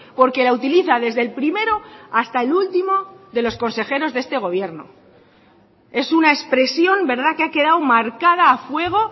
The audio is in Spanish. porque la utiliza desde el primero hasta el último de los consejeros de este gobierno es una expresión que ha quedado marcada a fuego